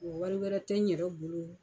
wari wɛrɛ tɛ n yɛrɛ bolo.